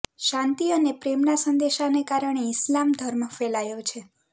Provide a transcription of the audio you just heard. શાંતિ અને પ્રેમના સંદેશાને કારણે ઈસ્લામ ધર્મ ફેલાયો છે